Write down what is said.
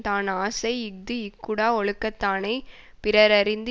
தான் அசை இஃது இக்கூடா ஒழுக்கத்தானைப் பிறரறிந்து